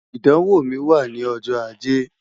idanwo mi wa ni ọjọ Aje